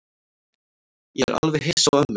Ég er alveg hissa á ömmu.